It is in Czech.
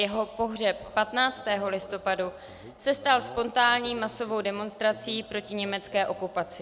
Jeho pohřeb 15. listopadu se stal spontánní masovou demonstrací proti německé okupaci.